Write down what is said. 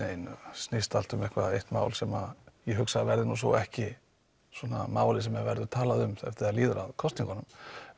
snýst allt um eitt mál sem ég hugsa að verði svo ekki málið sem verði talað um þegar líður að kosningunum